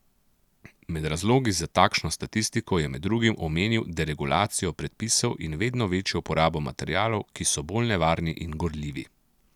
Med razlogi za takšno statistiko je med drugim omenil deregulacijo predpisov in vedno večjo uporabo materialov, ki so bolj nevarni in gorljivi.